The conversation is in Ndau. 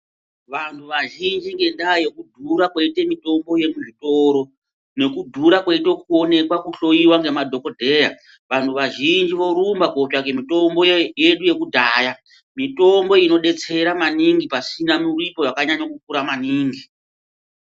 Vantu vazhinji ngendaa yekudhura kweite mitombo yemuzvitoro nekudhura koita kuoneka kuhloiwa ngemadhogodheya. Vantu vazhinji vorumba kotsvake mitombo yedu yekudhaya. Mitombo inobetsera maningi pasina muripo vakanyanya kukura maningi.